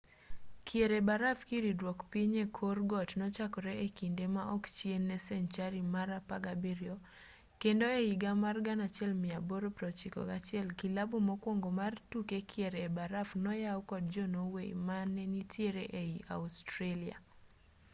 kier e baraf kiridruok piny e kor got nochakore e kinde ma ok chien ne senchari mar 17 kendo e higa mar 1861 kilabu mokwongo mar tuke kier e baraf noyaw kod jo-norway mane nitiere ei australia